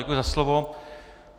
Děkuji za slovo.